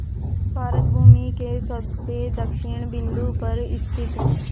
भारत भूमि के सबसे दक्षिण बिंदु पर स्थित